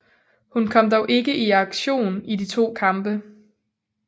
Hun kom dog ikke i aktion i de to kampe